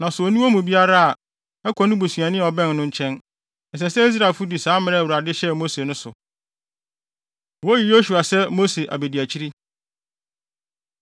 Na sɛ onni wɔn mu biara bi a, ɛkɔ ne busuani bi a ɔbɛn no nkyɛn. Ɛsɛ sɛ Israelfo di saa mmara a Awurade hyɛɛ Mose no so.” Woyi Yosua Sɛ Mose Abediakyiri